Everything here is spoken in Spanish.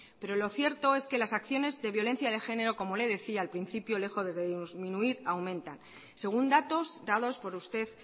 pero lo cierto es que las acciones de violencia de género como le decía al principio lejos de disminuir aumentan según datos dados por usted